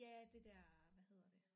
Ja det der hvad hedder det